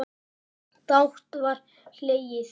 Dátt var hlegið.